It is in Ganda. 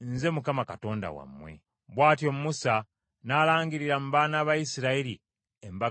Bw’atyo Musa n’alangirira mu baana ba Isirayiri embaga za Mukama ennonde.